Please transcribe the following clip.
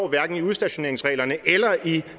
hverken i udstationeringsreglerne eller i